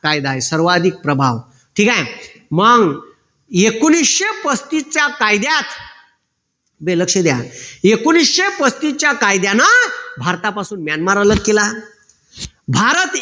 कायदा आहे सर्वाधिक प्रभाव. ठीक आहे. मग एकोणीशे पस्तीसच्या कायद्यात बे लक्ष द्या एकोणीशे पस्तीसच्या कायद्यानं भारतापासून म्यानमार अलग केला भारत